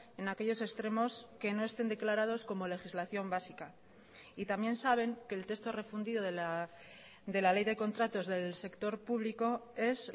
en aquellos extremos que no estén declarados como legislación básica y también saben que el texto refundido de la ley de contratos del sector público es